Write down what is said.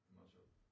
Det meget sjovt